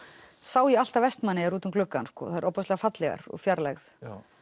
sá ég alltaf Vestmannaeyjar út um gluggann þær eru ofboðslega fallegar úr fjarlægð